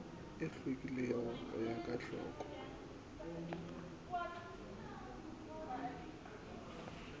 e hlwekilego ya go hloka